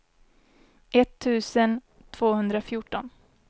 etttusen tvåhundrafjorton